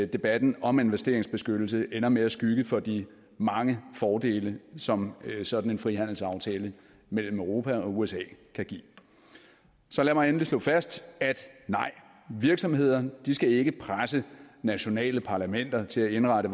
debatten om investeringsbeskyttelse ender med at skygge for de mange fordele som sådan en frihandelsaftale mellem europa og usa kan give så lad mig endelig slå fast at nej virksomheder skal ikke presse nationale parlamenter til at indrette